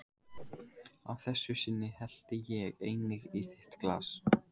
Að þessu sinni hellti ég einnig í þitt glas.